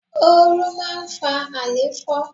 Oru máa ń fa alefo.